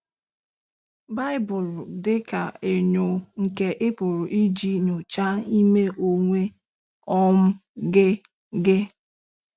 Baịbụlụ dị ka enyo nke ị pụrụ iji nyochaa ime onwe um gị gị.